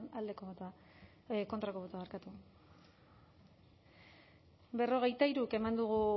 aldeko botoa kontrako botoa